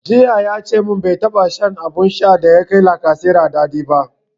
Jiya yace mun bai taɓa shan abun shan da ya kai lacasera daɗi ba